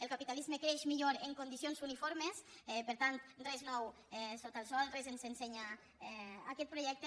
el capitalisme creix millor en condicions uniformes per tant res nou sota el sol res ens ensenya aquest projecte